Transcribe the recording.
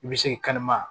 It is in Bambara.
I bɛ se k'i kan